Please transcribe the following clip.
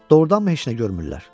Doğrudanmı heç nə görmürlər?